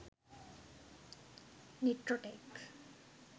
nitrotech